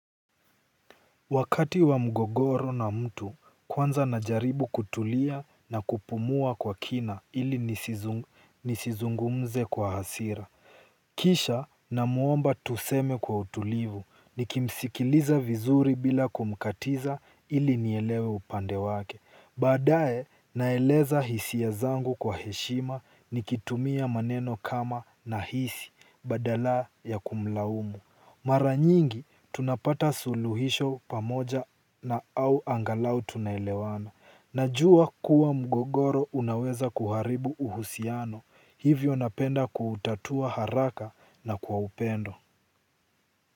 Wakati wa mgogoro na mtu kwanza na jaribu kutulia na kupumua kwa kina ili nisizungumze kwa hasira. Kisha namuomba tuseme kwa utulivu nikimsikiliza vizuri bila kumkatiza ili nielewe upande wake. Baadaye naeleza hisia zangu kwa heshima nikitumia maneno kama nahisi badala ya kumlaumu. Mara nyingi tunapata suluhisho pamoja na au angalau tunaelewana. Najua kuwa mgogoro unaweza kuharibu uhusiano. Hivyo napenda kutatua haraka na kwa upendo.